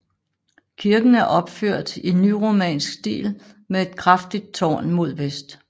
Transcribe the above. Kirken er opført i nyromansk stil med et kraftigt tårn mod vest